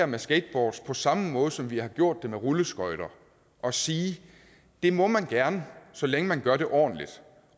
med skateboards på samme måde som vi har gjort det med rulleskøjter og sige det må man gerne så længe man gør det ordentligt